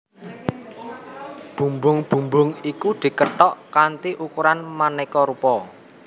Bumbung bumbung iku dikethok kanthi ukuran manéka rupa